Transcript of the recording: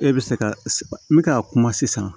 E bɛ se ka n bɛ ka kuma sisan